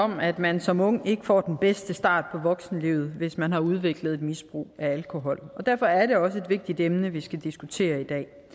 om at man som ung ikke får den bedste start på voksenlivet hvis man har udviklet et misbrug af alkohol og derfor er det også et vigtigt emne vi skal diskutere i